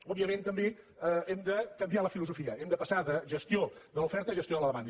òbviament també hem de canviar la filosofia hem de passar de gestió de l’oferta a gestió de la demanda